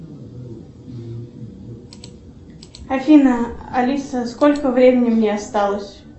афина алиса сколько времени мне осталось